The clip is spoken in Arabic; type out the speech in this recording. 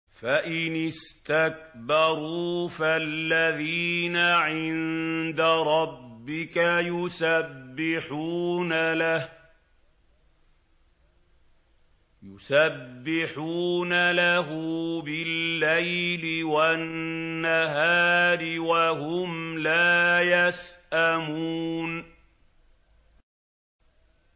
فَإِنِ اسْتَكْبَرُوا فَالَّذِينَ عِندَ رَبِّكَ يُسَبِّحُونَ لَهُ بِاللَّيْلِ وَالنَّهَارِ وَهُمْ لَا يَسْأَمُونَ ۩